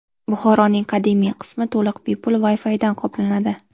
Buxoroning qadimiy qismi to‘liq bepul Wi-Fi bilan qoplanadi.